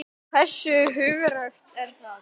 Hversu hugrakkt var það?